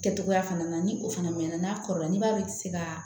Kɛ cogoya fana na ni o fana mɛn na n'a kɔrɔla n'i b'a se ka